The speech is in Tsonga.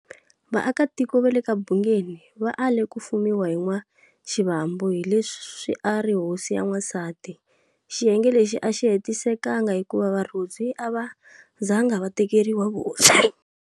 Vaakatiko va le ka Bhungeni va ale ku fumiwa hi N'wa-Xivambu hi leswi a ari hosi ya n'wansati. Xiyenge lexi axi hetisekanga hikuva Varodzwi ava zanga va tekeriwa Vuhosi.